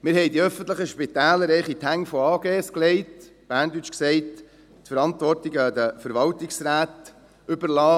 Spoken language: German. Wir legten die öffentlichen Spitäler in die Hände von AGs, auf Berndeutsch gesagt, überliessen wir die Verantwortung den Verwaltungsräten.